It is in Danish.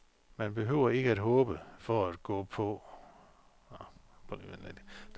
Man behøver ikke at håbe for at gå på eller at sejre for at holde ud.